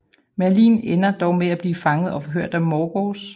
Merlin ender dog med at blive fanget og forhørt af Morgause